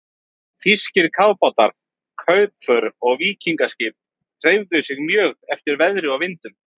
Þýskir kafbátar, kaupför og víkingaskip hreyfðu sig mjög eftir veðri og vindum.